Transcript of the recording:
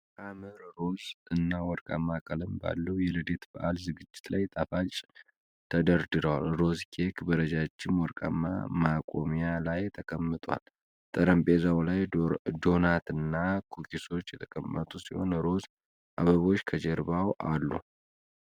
ሐመር ሮዝ እና ወርቃማ ቀለም ባለው የልደት በዓል ዝግጅት ላይ ጣፋጮች ተደርድረዋል። ሮዝ ኬክ በረጃጅም ወርቃማ ማቆሚያ ላይ ተቀምጧል። ጠረጴዛው ላይ ዶናትና ኩኪሶች የተቀመጡ ሲሆን፣ ሮዝ አበቦች ከጀርባው አሉ።